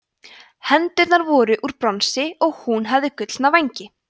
hendurnar voru úr bronsi og hún hafði gullna vængi